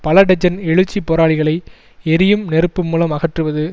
பல டஜன் எழுச்சி போராளிகளை எரியும் நெருப்பு மூலம் அகற்றுவது